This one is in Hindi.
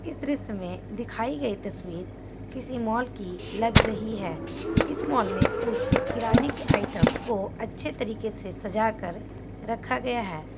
इस दृश्य में दिखाई गयी तस्वीर किसी मॉल की लग रही है इस मॉल में कुछ किराने के आइटम को अच्छे तरीके से सजा कर रखा गया है।